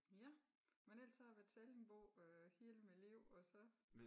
Ja men ellers har så har jeg været sallingbo øh hele mit liv og så